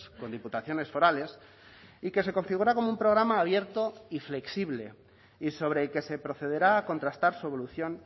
con diputaciones forales y que se configura como un programa abierto y flexible y sobre el que se procederá a contrastar su evolución